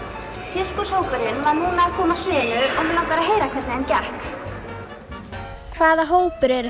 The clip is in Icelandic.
sirkushópurinn var núna að koma af sviðinu og mig langar að heyra hvernig þeim gekk hvaða hópur eru